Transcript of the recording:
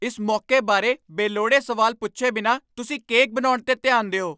ਇਸ ਮੌਕੇ ਬਾਰੇ ਬੇਲੋੜੇ ਸਵਾਲ ਪੁੱਛੇ ਬਿਨਾਂ ਤੁਸੀਂ ਕੇਕ ਬਣਾਉਣ 'ਤੇ ਧਿਆਨ ਦਿਓ।